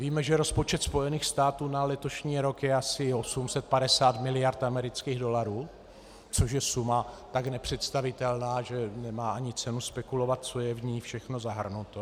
Víme, že rozpočet Spojených států na letošní rok je asi 850 mld. amerických dolarů, což je suma tak nepředstavitelná, že nemá ani cenu spekulovat, co je v ní všechno zahrnuto.